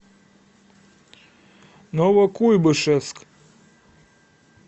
новокуйбышевск